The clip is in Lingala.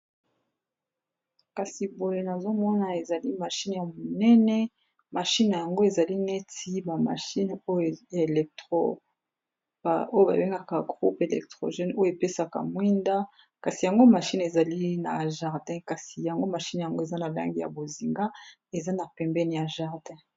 kasi boye nazomona ezali mashine ya monene mashine n yango ezali neti bamashine ya electro oyo babengaka groupe electrogene oyo epesaka mwinda kasi yango mashine ezali na jardin kasi yango mashine yango eza na lange ya bozinga eza na pembeni ya jardin